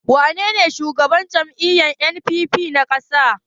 Wanene shugaban jam'iyyar NNPP na ƙasa?